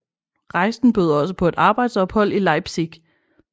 Rejsen bød også på et arbejdsophold i Leipzig